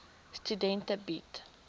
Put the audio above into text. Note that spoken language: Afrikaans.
studente bied